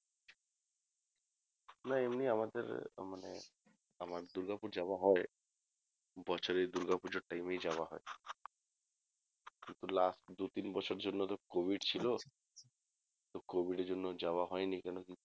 না এমনি আমাদের মানে আমার দুর্গাপুর যাওয়া হয় বছরে দুর্গাপুজোর time এই যাওয়া হয় last দু তিন বছর জন্য তো covid ছিল তো covid এর জন্য আর যাওয়া হয়নি কেনোকি